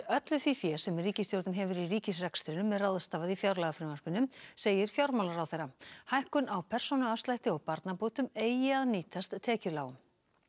öllu því fé sem ríkisstjórnin hefur í ríkisrekstrinum er ráðstafað í fjárlagafrumvarpinu segir fjármálaráðherra hækkun á persónuafslætti og barnabótum eigi að nýtast tekjulágum